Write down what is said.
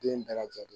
Den bɛɛ lajɛlen